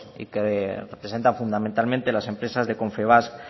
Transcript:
y que presenta fundamentalmente las empresas de confebask